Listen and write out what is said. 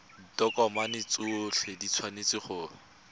ditokomane tsotlhe di tshwanetse go